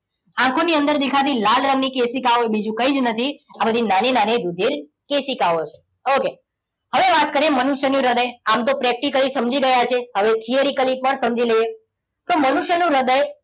આ કોની અંદર દેખાતી લાલ રંગની કેસિકાઓ બીજું કઈ જ નથી, આ બધી નાની નાની રુધિર કેસિકાઓ છે. okay? હવે વાત કરીએ મનુષ્યનું હૃદય. આમ તો practically સમજી ગયા છે હવે theoretical પણ સમજી લઈએ. તો મનુષ્યનું હૃદય.